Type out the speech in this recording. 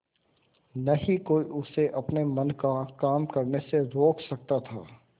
न ही कोई उसे अपने मन का काम करने से रोक सकता था